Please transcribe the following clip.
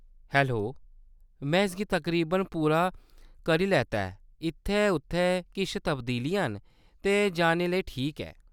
Hello, में इसगी तकरीबन पूरा करी लैता ऐ ; इत्थैं-उत्थैं किश तब्दीलियां न, ते जाने लेई ठीक ऐ।